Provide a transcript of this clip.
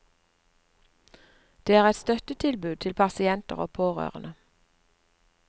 Det er et støttetilbud til pasienter og pårørende.